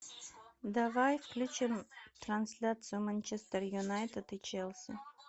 давай включим трансляцию манчестер юнайтед и челси